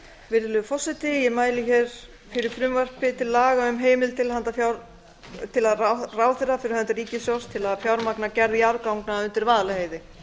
virðulegi forseti ég mæli fyrir frumvarp til laga um heimild til handa ráðherra fyrir hönd ríkissjóðs til að fjármagna gerð jarðganga undir vaðlaheiði